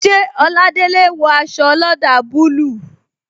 Ṣé Oladele wo aṣọ olada bayij